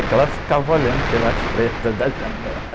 É que ela ficava olhando pelas frestas da janela.